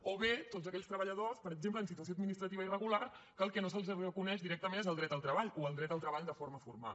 o bé tots aquells treballadors per exemple en situació administrativa irregular que el que no se’ls reconeix directament és el dret al treball o el dret al treball de forma formal